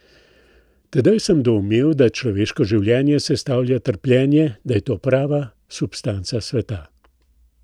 Tedaj sem doumel, da človeško življenje sestavlja trpljenje, da je to prava substanca sveta.